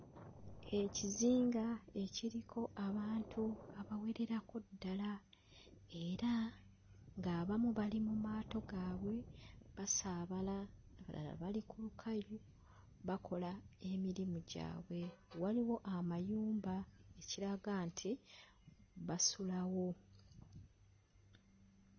Ekizinga ekiriko abantu abawererako ddala era ng'abamu bali mu maato gaabwe basaabala, abalala bali ku lukalu bakola emirimu gyabwe waliwo amayumba ekiraga nti basulawo.